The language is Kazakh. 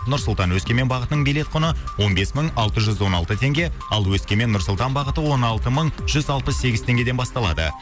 нұр сұлтан өскемен бағытының билет құны он бес мың алты жүз он алты теңге ал өскемен нұр сұлтан бағыты он алты мың жүз алпыс сегіз теңгеден басталады